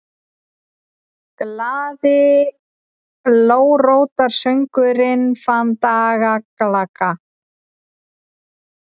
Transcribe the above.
GLAÐI GULRÓTARSÖNGURINNFANDALAGGAHOJ